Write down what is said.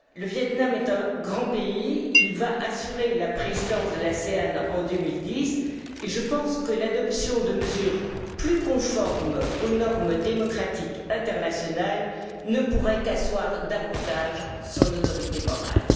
Le Viêt Nam est un grand pays, il va assurer la présidence de l'ANASE en 2010, et je pense que l'adoption de mesures plus conformes aux normes démocratiques internationales ne pourrait qu'asseoir davantage son autorité morale.